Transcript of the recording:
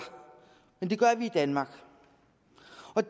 men det gør vi i danmark